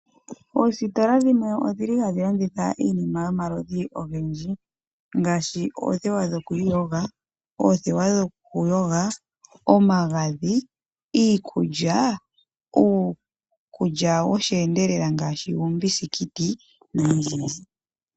Oositola dhimwe odhi li hadhi landitha iinima yomaludhi ogendji ngaashi oothewa dho ku iyoga, oothewa dho ku yoga, omagadhi, iikulya, uukulya wo sheendelela ngaashi uukuki noyindji yindji.